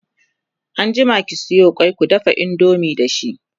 anjima ki Sayo kwai kundafa indomie da shi!